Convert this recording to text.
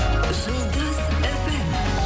жұлдыз фм